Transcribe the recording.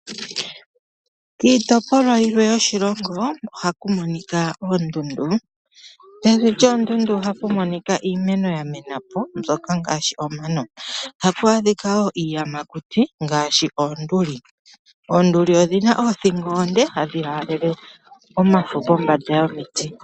Kiitopolwa yilwe yoshilongo ohaku monika oondundu, pevi lyoondundu ohapu monika iimeno yamenapo mbyoka ngashi omano. Ohapu adhikwawo iiyamakuti ngashi oonduli, oonduli odhina othingo onde hadhi lalele omafo pombanda yomiti.